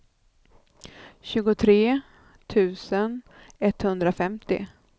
tjugotre tusen etthundrafemtio